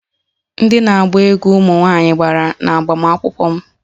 Ndị na-agba egwú ụmụ nwanyị gbara n'agbamakwụkwọ m